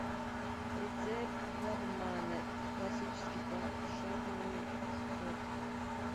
рецепт лагмана классический пошаговый с фото